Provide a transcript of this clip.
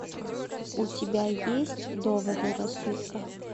у тебя есть доводы рассудка